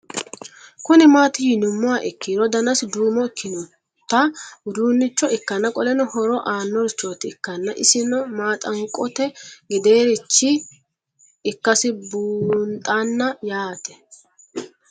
Kuni mati yinumoha ikiro danasi duumo ikinota udunicho ikana qoleno horo aano richoti ikana isino manxaqote gedereircho ikasi bunxana yaate